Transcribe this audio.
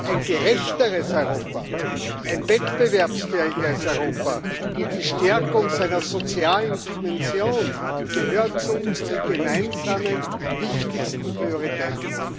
Ein gerechteres Europa, ein wettbewerbsfähigeres Europa und die Stärkung seiner sozialen Dimension gehören zu unseren gemeinsamen wichtigsten Prioritäten.